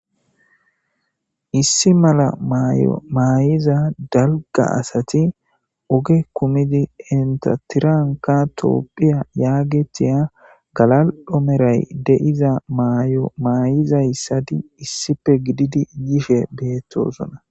issi mala mayo maayiza dalga asati oge kumidi entatiranka toopphiya yaagetiya galal7omeray deiza maayo maayizayssadi issife gididi yishe beettosona